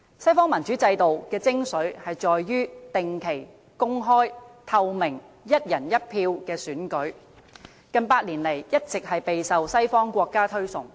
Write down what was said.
西方民主制度的精粹，在於定期、公開、透明、"一人一票"的選舉，近百年來一直備受西方國家推崇。